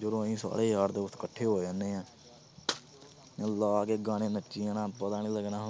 ਜਦੋਂ ਅਸੀਂ ਸਾਰੇ ਯਾਰ ਦੋਸਤ ਇਕੱਠੇ ਹੋ ਜਾਂਦੇ ਹਾਂ ਲਾ ਕੇ ਗਾਣੇ ਨੱਚੀ ਜਾਣਾ ਪਤਾ ਨੀ ਲੱਗਣਾ